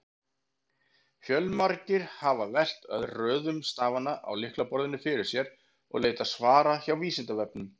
Fjölmargir hafa velt röðun stafanna á lyklaborðinu fyrir sér og leitað svara hjá Vísindavefnum.